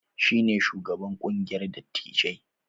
Shi ne shugaban ƙungiyar dattijai.